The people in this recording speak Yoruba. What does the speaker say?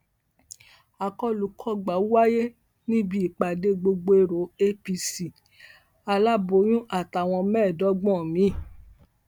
akọlùkọgbà wáyé níbi ìpàdé gbọgbẹọ apc aláboyún àtàwọn mẹẹẹdọgbọn mi